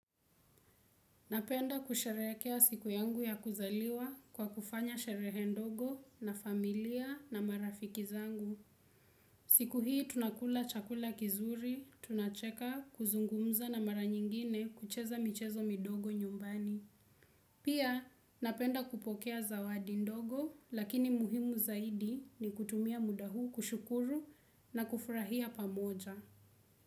Napenda kusherehekea siku yangu ya kuzaliwa kwa kufanya sherehe ndogo na familia na marafiki zangu. Siku hii tunakula chakula kizuri, tunacheka kuzungumza na mara nyingine kucheza michezo midogo nyumbani. Pia napenda kupokea zawadi ndogo lakini muhimu zaidi ni kutumia muda huu kushukuru na kufurahia pamoja.